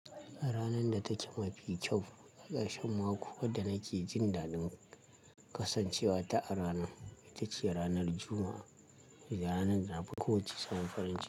Ranan da take mafi kyau a ƙarshen mako, wadda nake jin daɗin kasancewa ta a rana, ita ce ranar Juma'a, ranar da na fi ƙoƙa ci sabon farin ciki.